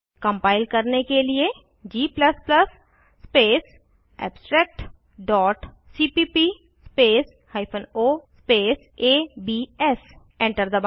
compile करने के लिए g space abstract dot cpp space hyphen o space ABS enter दबाएं